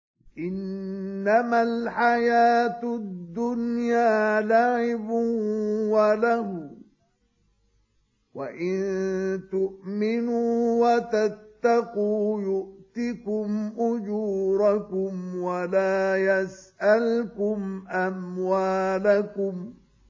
إِنَّمَا الْحَيَاةُ الدُّنْيَا لَعِبٌ وَلَهْوٌ ۚ وَإِن تُؤْمِنُوا وَتَتَّقُوا يُؤْتِكُمْ أُجُورَكُمْ وَلَا يَسْأَلْكُمْ أَمْوَالَكُمْ